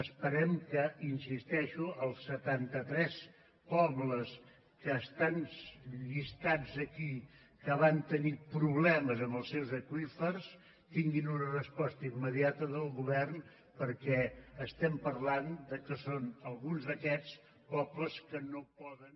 esperem que hi insisteixo els setanta tres pobles que estan llistats aquí que van tenir problemes amb els seus aqüífers tinguin una resposta immediata del govern perquè estem parlant que són alguns d’aquests pobles que no poden